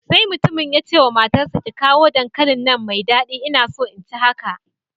Sai Mutumin ya ce wa matarsa ​​ki kawo dankalin nan mai dadi ina so in ci haka